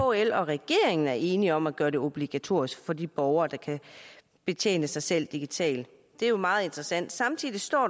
kl og regeringen er enige om at gøre det obligatorisk for de borgere der kan betjene sig selv digitalt det er meget interessant samtidig står